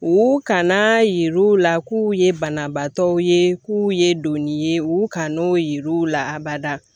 U kan na yir'u la k'u ye banabaatɔw ye k'u ye donni ye u kan n'o yer'u la abada